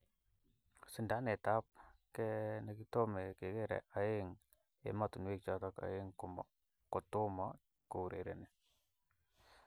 Sindanet ab ke nikitome kekere eng ematunwek choto aeng kotomo kourereni.